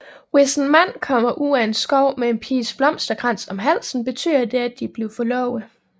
Hvis en mand kommer ud af skoven med en piges blomsterkrans om halsen betyder det at de er blevet forlovet